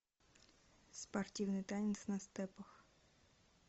спортивный танец на степах